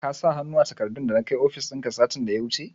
Ka sa hannu a takardun dana kai ofishin ka, satin da ya wuce?